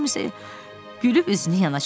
Tom isə gülüb üzünü yana çevirdi.